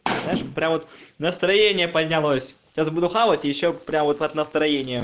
знаешь прям настроение поднялось это буду хавать ещё прямо вот настроения